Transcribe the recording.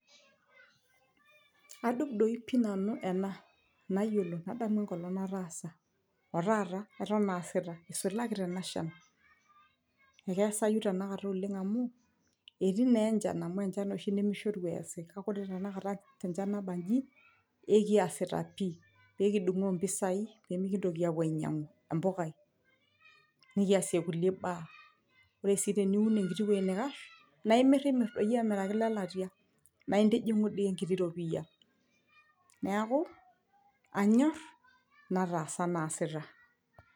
adup doi pii nanu ena nayiolo adamu enkolong nataasa otaata eton aasita isulaki tena shan ekesayu tena kata oleng amu etii naa enchan amu enchan ooshi nemishoru eesi kake ore tenakata tenchan nabanji ekiasita pii pekidung'oo mpisai pemikintoki apuo ainyiang'u empukai nikiasie kulie baa ore sii teniun enkiti wueji nikash naa imirrimir doi amiraki ilelatia naa intijing'u dii enkiti ropiyia neeku anyorr nataasa enaasita.